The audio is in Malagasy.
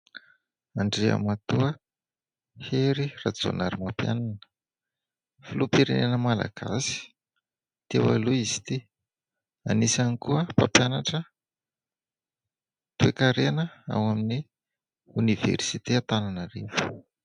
Andriamatoa Hery Rajaonarimampianina, filoham-pirenena malagasy teo aloha izy ity, anisany koa mpampianatra toe-karena ao amin' ny oniversite Antananarivo.